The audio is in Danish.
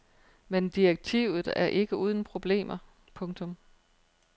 Men direktivet er ikke uden problemer. punktum